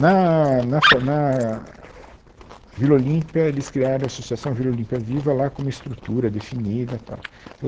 Na na Fa na Vila Olímpia, eles criaram a Associação Vila Olímpia Viva, lá com uma estrutura definida, tal.